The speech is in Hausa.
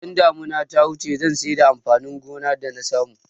Idan damuna ta wuce zan saida amfanin gona da nasamu